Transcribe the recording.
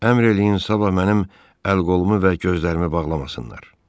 Əmr eləyin sabah mənim əl-qolumu və gözlərimi bağlamasınlar.